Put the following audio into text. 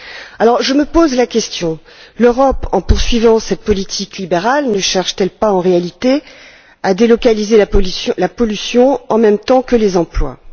Alors je me pose la question suivante l'Europe, en poursuivant cette politique libérale, ne cherche t elle pas en réalité à délocaliser la pollution en même temps que les emplois?